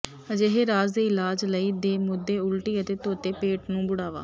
ਅਜਿਹੇ ਰਾਜ ਦੇ ਇਲਾਜ ਲਈ ਦੇ ਮੁੱਦੇ ਉਲਟੀ ਅਤੇ ਧੋਤੇ ਪੇਟ ਨੂੰ ਬੁੜ੍ਹਾਵਾ